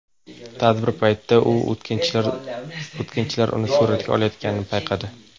Tadbir paytida u o‘tkinchilar uni suratga olayotganini payqadi.